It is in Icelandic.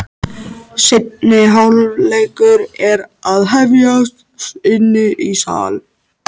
Seinni hálfleikur er að hefjast inni í sal.